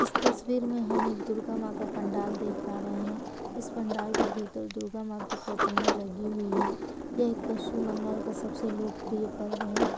इस तस्वीर में हम एक दुर्गा माँ का पंडाल देख पा रहे हैं। इस पंडाल के भीतर दुर्गा माँ की प्रतिमा लगी हुई है। यह एक पश्चिम बंगाल का सबसे लोकप्रिय पर्व है।